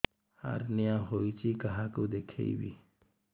hernia ହୋଇଛି କାହାକୁ ଦେଖେଇବି